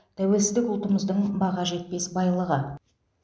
тәуелсіздік ұлтымыздың баға жетпес байлығы